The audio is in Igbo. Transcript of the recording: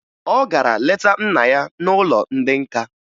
Ọ gara leta nna ya n'ụlọ ndị nka